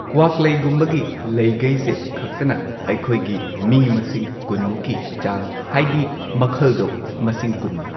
ꯀ꯭ꯋꯥꯛꯂꯩꯒꯨꯝꯕꯒꯤ ꯂꯩꯒꯩꯁꯦ ꯈꯛꯇꯅ ꯑꯩꯈꯣꯏꯒꯤ ꯃꯤ ꯃꯁꯤꯡ ꯀꯨꯟꯃꯨꯛꯀꯤ ꯆꯥꯡ ꯍꯥꯏꯗꯤ ꯃꯈꯜꯗꯣ ꯃꯁꯤꯡ ꯀꯨꯟꯅꯤ꯫